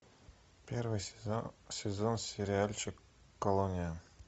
первый сезон сериальчик колония